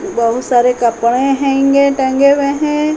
बहोत सारे कपडे हेंगे टंगे हुए हैं।